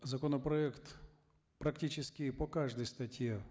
законопроект практически по каждой статье